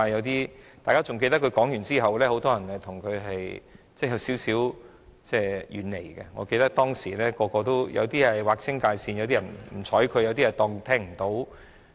大家還記得他發表了該言論後，建制派中很多人也稍為遠離他，我記得當時有些人跟他劃清界線，有些人不理睬他。